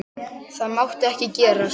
Það mátti ekki gerast.